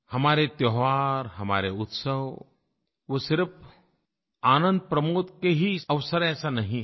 हमारे त्योहार हमारे उत्सव वो सिर्फ़ आनंदप्रमोद के ही अवसर हैं ऐसा नहीं है